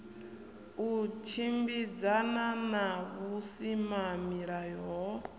u tshimbidzana na vhusimamilayo ho